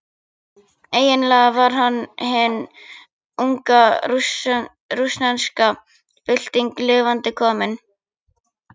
Eiginlega var hann hin unga rússneska bylting lifandi komin.